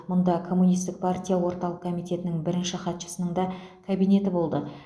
мұнда коммунистік партия орталық комитетінің бірінші хатшысының да кабинеті болды